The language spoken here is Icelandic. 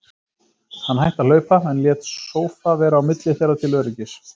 Hann hætti að hlaupa, en lét sófa vera á milli þeirra til öryggis.